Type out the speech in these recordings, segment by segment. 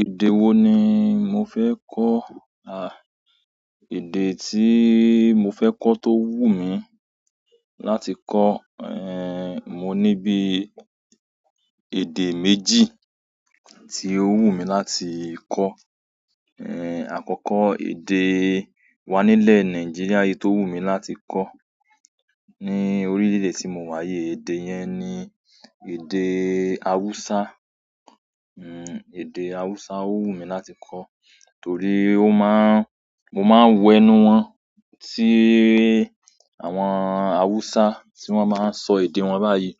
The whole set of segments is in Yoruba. Èdè wo ni mo fẹ́ kọ́? À, èdè tí mo fẹ́ kọ́ tó wù mí láti kọ́, eh, mo ní bí èdè méjì tí ó wù mí láti kọ́. Eh, àkọ́kọ́ èdè wa nílẹ̀ Nàìjíríà yìí tó wù mí láti kọ́ ní orílẹ̀-èdè tí mo wà yìí, èdè yẹn ni èdè Hausa. Hmm, èdè Hausa ó wù mí láti kọ́ torí ó má ń-- mo máa ń wo ẹnu wọn, tí àwọn Hausa tí wọ́n máa ń sọ èdè wọn báyìí.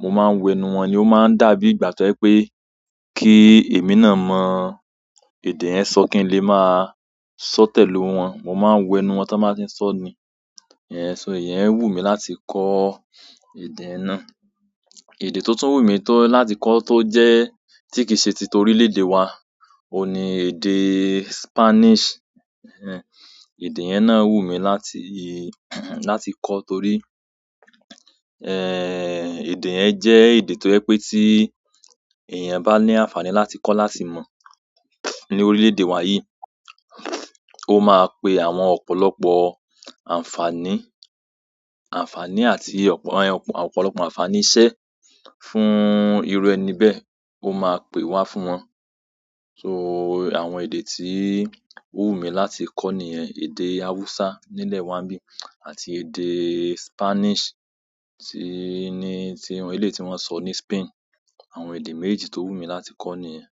Mo maa n wo ẹnu won ni o maa n dàbí ìgbà to je wípé ki emi náà mo èdè yen so kin le maa so pẹ̀lú won. Mo máa ń wo ẹnu wọn tí wọ́n bá ti ń sọ ni, ẹhn, ṣó iyẹn wù mí láti kọ́ èdè náà. Èdè tó tún wù mí tó láti kọ́ tó jẹ́ tí kìí ṣe ti torí lédè wa, òun ni èdè Spanish. Ehn, èdè yẹn náà wù mí láti, láti kọ́ torí, ehn, èdè yẹn jẹ́ èdè tó jẹ pé tí èèyàn bá ní àǹfààní láti kọ́ láti mọ̀ ní orílẹ̀-èdè wa yìí, ó máa pe àwọn ọ̀pọ̀lọpọ̀ àǹfààní, àǹfàní àti ọ̀pọ̀-- ọ̀pọ̀lọpọ̀ àǹfààní iṣẹ́ fún irú ẹni bẹ́ẹ̀ ó máa pè wá fún wọn. So àwọn èdè tí ó wù mí láti kọ́ nìyẹn, èdè Hausa nílẹ̀ wa n bí, àti èdè Spanish tí ni, tí eléyi ti wọ́n ń sọ ní Spain. Àwọn èdè mejejì tó wù mí láti kọ́ nìyẹn.